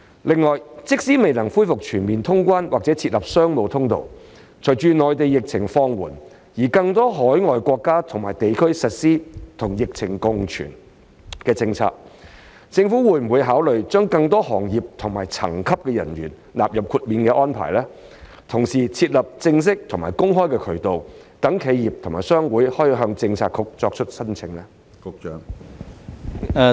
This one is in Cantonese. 另外，即使未能恢復全面通關或設立商務通道，隨着內地疫情放緩，以及更多海外國家及地區實施與疫情共存的政策，政府會否考慮將更多行業及層級的人員納入豁免安排，同時設立正式及公開的渠道，讓企業及商會可以向政策局作出申請？